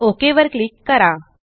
OKवर क्लिक करा